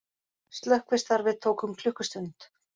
Slökkvistarfið tók um klukkustund